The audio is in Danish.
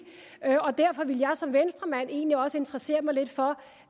og derfor ville jeg som venstremand egentlig også interessere mig lidt for